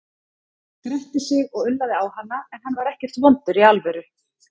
Hann gretti sig og ullaði á hana, en hann var ekkert vondur í alvöru.